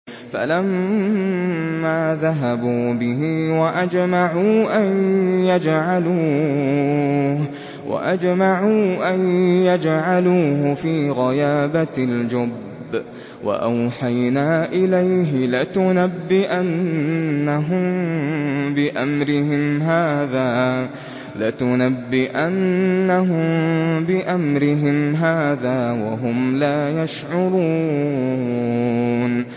فَلَمَّا ذَهَبُوا بِهِ وَأَجْمَعُوا أَن يَجْعَلُوهُ فِي غَيَابَتِ الْجُبِّ ۚ وَأَوْحَيْنَا إِلَيْهِ لَتُنَبِّئَنَّهُم بِأَمْرِهِمْ هَٰذَا وَهُمْ لَا يَشْعُرُونَ